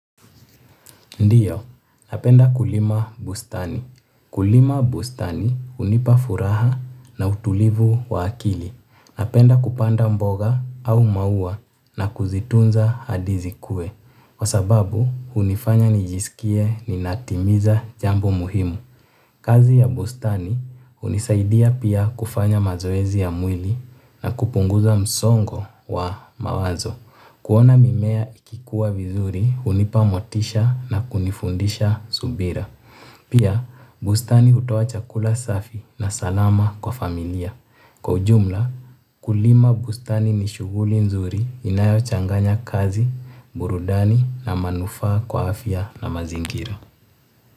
Ndiyo, napenda kulima bustani. Kulima bustani hunipa furaha na utulivu wa akili. Napenda kupanda mboga au maua na kuzitunza hadi zikue. Kwa sababu, hunifanya nijisikie ninatimiza jambo muhimu. Kazi ya bustani hunisaidia pia kufanya mazoezi ya mwili na kupunguza msongo wa mawazo. Kuona mimea ikikuwa vizuri hunipa motisha na kunifundisha subira. Pia, bustani hutoa chakula safi na salama kwa familia. Kwa ujumla, ukulima bustani ni shuguli nzuri inayo changanya kazi, burudani na manufaa kwa afya na mazingira.